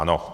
Ano.